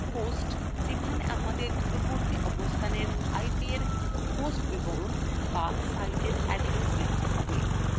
hostযেখানে আমাদের দূরবর্তী অবস্থানএর ipএর host বিবরণ বা সাইটের address লিখতে হবে